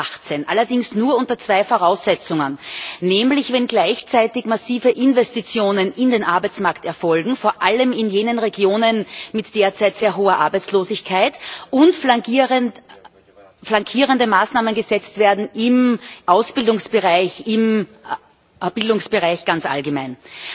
2018. Allerdings nur unter zwei Voraussetzungen, nämlich dass gleichzeitig massive Investitionen in den Arbeitsmarkt erfolgen, vor allem in jenen Regionen mit derzeit sehr hoher Arbeitslosigkeit, und flankierende Maßnahmen gesetzt werden im Ausbildungsbereich, im Bildungsbereich ganz allgemein.